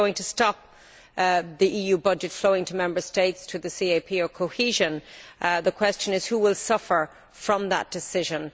If you are going to stop the EU budget flowing to Member States, to the CAP or to cohesion, the question is who will suffer from that decision?